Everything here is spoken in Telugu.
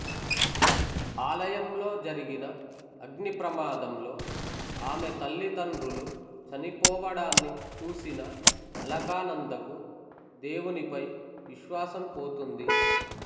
ఆలయంలో జరిగిన అగ్నిప్రమాదంలో ఆమె తల్లిదండ్రులు చనిపోవడాన్ని చూసిన అలకానందకు దేవునిపై విశ్వాసం పోతుంది